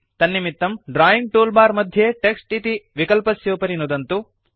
तन्निमित्तं drawing toolbar मध्ये text इति विकलस्योपरि नुदन्तु